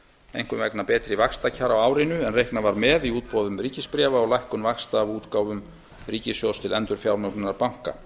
einkum vegna betri vaxtakjara á árinu en reiknað var með í útboðum ríkisbréfa og lækkun vaxta af útgáfum ríkissjóðs til endurfjármögnunar banka